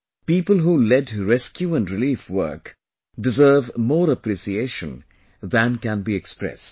People who led rescue and relief work deserve more appreciation than can be expressed